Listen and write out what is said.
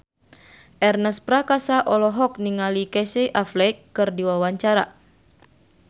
Ernest Prakasa olohok ningali Casey Affleck keur diwawancara